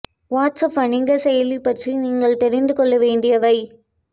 watts app வணிக செயலி பற்றி நீங்கள் தெரிந்து கொள்ள வேண்டியவை